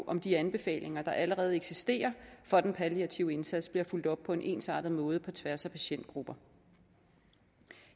om de anbefalinger der allerede eksisterer for den palliative indsats bliver fulgt op på en ensartet måde på tværs af patientgrupper